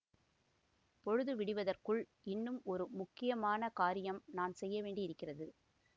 பொழுது விடிவதற்குள் இன்னும் ஒரு முக்கியமான காரியம் நான் செய்யவேண்டியிருக்கிறது